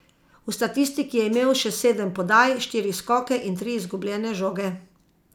V statistiki je imel še sedem podaj, štiri skoke in tri izgubljene žoge.